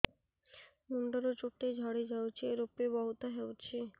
ମୁଣ୍ଡରୁ ଚୁଟି ଝଡି ଯାଉଛି ଋପି ବହୁତ ହେଉଛି